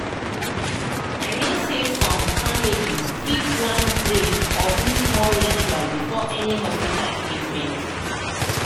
i mean say some family fit wan pray or do small ritual before any hospita treatment